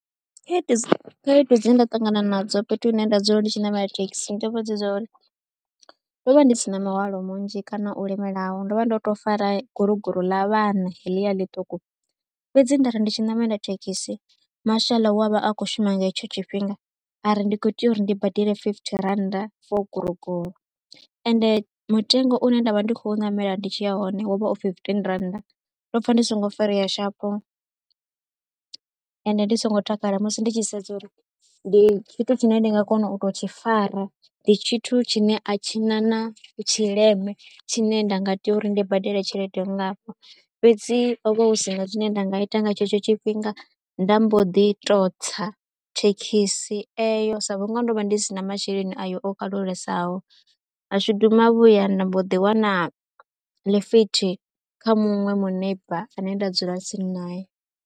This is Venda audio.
Khaedu dzi khaedu dze nda ṱangana nadzo fhethu hune nda dzula ndi tshi ṋamela thekhisi ndi dza uri ndo vha ndi si na mihwalo munzhi kana u lemelaho ndo vha ndo tou fara guruguru ḽa vhana heḽia ḽiṱuku. Fhedzi nda ri ndi tshi ṋamela thekhisi, mashaḽa wa vha a khou shuma nga hetsho tshifhinga ari ndi khou tea uri ndi badele fifithi rannda for guroguro. Ende mutengo une nda vha ndi khou ṋamela ndi tshi ya hone wo vha o fifitini rannda, ndo pfha ndi songo farea sharp ende ndi songo takala musi ndi tshi sedza uri ndi tshithu tshine ndi nga kona u tou tshi fara. Ndi tshithu tshine a tshi na na tshileme tshine nda nga tea uri ndi badele tshelede nngafho, fhedzi ho vha hu si na zwine nda nga ita nga tshetsho tshifhinga. Nda mbo ḓi tou tsa thekhisi eyo sa vhunga ndo vha ndi si na masheleni ayo o kalulesaho, mashudu mavhuya nda mbo ḓi wana ḽifithi kha muṅwe muneiba ane nda dzula tsini nae.